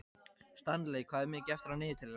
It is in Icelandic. Stanley, hvað er mikið eftir af niðurteljaranum?